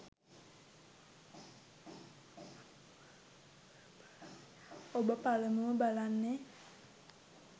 ඔබ පළමුව බලන්නේ